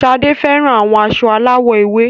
Sade fẹran awọn aṣọ alawọ ewe